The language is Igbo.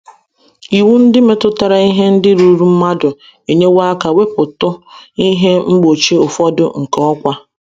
Iwu ndị metụtara ihe ndị ruuru mmadụ enyewo aka wepụtụ ihe mgbochi ụfọdụ nke ọkwá.